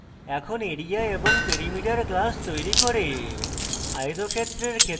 এখন area এবং perimeter class তৈরী করে